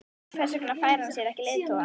Hver vegna fær hann sér ekki leiðtoga?